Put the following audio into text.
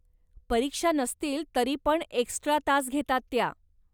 परीक्षा नसतील तरीपण एक्स्ट्रा तास घेतात त्या.